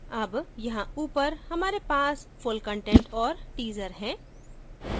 अब यहाँ ऊपर हमारे पास full content और teaser है